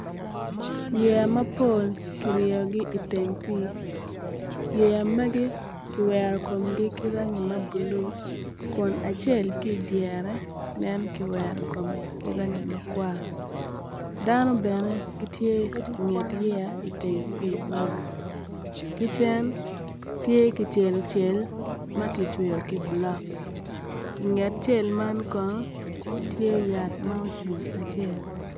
Yeya mapol kiryeyogi i teng pii yeya mgai kiwero komgi ki rangi mabulu kun acel ki i dyere nen kiwero ki rangi ma kwa dano bene gitye i nget yeya man kicen tye kicelocel ka kicweyo ki bulo inge yaya man kono tye yat ma ocung acel.